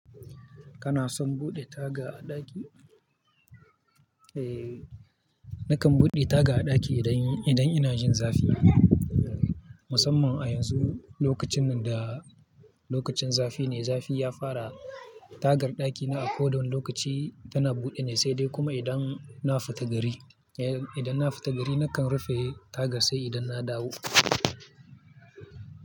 Kana son buɗe taga a ɗaki? Eh, nakan buɗe taga a ɗaki idan, idan ina jin zafi. Musamman a yanzu lokacin nan da lokacin zafi ne, zafi ya fara. Tagar ɗakina a kodavwanne lokaci tana buɗe ne, sai dai kuma idan na fita gari. Eh, idan na fita gari nakan rufe taga sai idan na dawo.